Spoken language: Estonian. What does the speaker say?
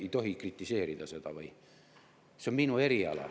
Ei tohi kritiseerida seda või?